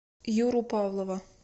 юру павлова